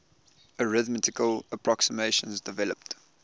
arithmetical approximations developed